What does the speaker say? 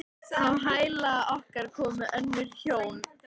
Á hæla okkar komu önnur hjón.